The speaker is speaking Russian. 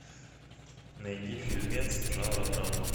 найди фильмец жанра драма